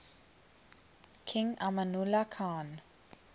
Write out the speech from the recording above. king amanullah khan